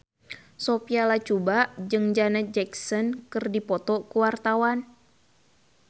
Sophia Latjuba jeung Janet Jackson keur dipoto ku wartawan